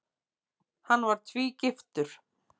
Hann var tvígiftur.